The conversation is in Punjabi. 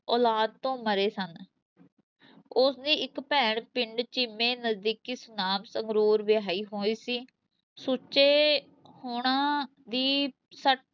ਔਲਾਦ ਤੋਂ ਮਰੇ ਸਨ ਉਸ ਦੀ ਇੱਕ ਭੈਣ ਪਿੰਡ ਚੀਮੇ, ਨਜ਼ਦੀਕੀ ਸੁਨਾਮ ਸੰਗਰੂਰ ਵਿਆਹੀ ਹੋਈ ਸੀ, ਸੁੱਚੇ ਹੁਣਾਂ ਦੀ ਛ